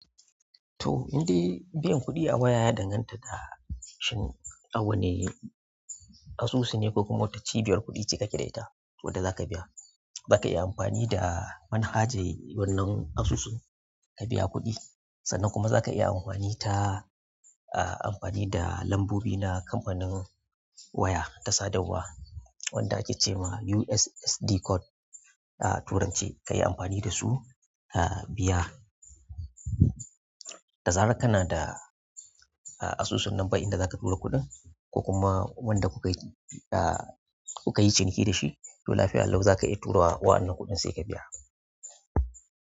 To, indai biyan kuɗi a waya ya danganta da shin awanni asusu ne ko kuma wata cibiyar kuɗi ce ka ke da ita wadda za ka biya. Zaka iya amfani da manhajar wannan asusun ka biya kuɗi sannan kuma za ka iya amfani ta, ah, amfani da lambobi na kamfanin waya ta sadarwa wadda ake ce ma USSD code a turanci ka yi amfani da su, ah, biya. Da zaran kana da asusun nan fa inda zaka tura kuɗin ko kuma wanda kukayi ciniki to lafiya lau zaka iya tu wannan kuɗin ko kuma sai ka biya.